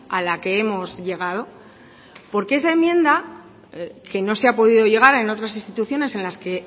a la que hemos llegado porque esa enmienda que no se ha podido llegar en otras instituciones en las que